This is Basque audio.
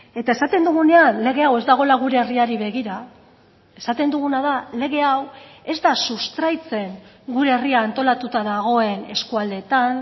eta esaten dugunean lege hau ez dagoela gure herriari begira esaten duguna da lege hau ez da sustraitzen gure herria antolatuta dagoen eskualdeetan